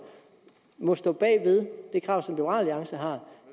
må stå bag ved det krav som liberal alliance har om